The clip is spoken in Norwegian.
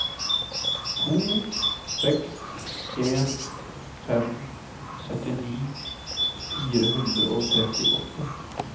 to seks en fem syttini fire hundre og trettiåtte